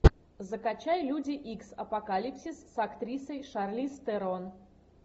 закачай люди икс апокалипсис с актрисой шарлиз терон